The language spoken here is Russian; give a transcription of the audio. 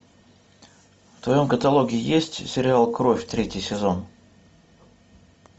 в твоем каталоге есть сериал кровь третий сезон